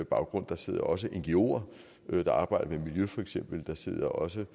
baggrund der sidder også ngoer der arbejder med miljø feks og der sidder også